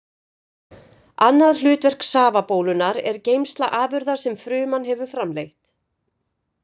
Annað hlutverk safabólunnar er geymsla afurða sem fruman hefur framleitt.